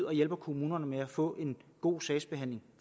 og hjælper kommunerne med at få en god sagsbehandling